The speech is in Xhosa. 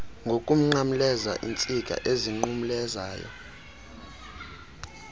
ngokunqamleza iintsika ezinqumlezayo